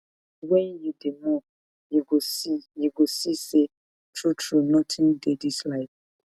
wen you dey mourn you go see you go see sey truetrue notin dey dis life